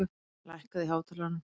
Baui, lækkaðu í hátalaranum.